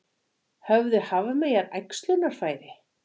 Höfðu hafmeyjar æxlunarfæri?